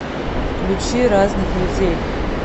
включи разных людей